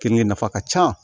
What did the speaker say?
Kenige nafa ka ca